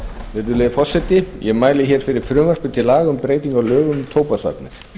virðulegi forseti ég mæli hér fyrir frumvarpi til laga um breytingu á lögum um tóbaksvarnir